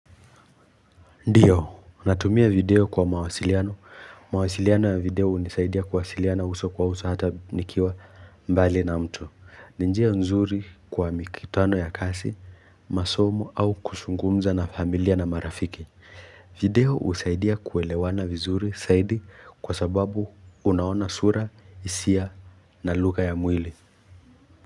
Ndiyo, natumia video kwa mawasiliano, mawasiliano ya video unisaidia kuwasiliana uso kwa uso hata nikiwa mbali na mtu ninjia nzuri kwa mikitano ya kasi, masomo au kuzungumza na familia na marafiki video usaidia kuelewana vizuri saidi kwa sababu unaona sura, isia na lugha ya mwili.